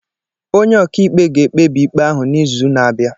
Onye ọka ikpe ga-ekpebi ikpe ahụ n'izu na-abịa